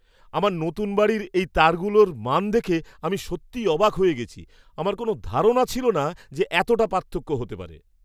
আমার নতুন বাড়ির এই তারগুলোর মান দেখে আমি সত্যিই অবাক হয়ে গেছি। আমার কোনো ধারণা ছিল না যে এতটা পার্থক্য হতে পারে!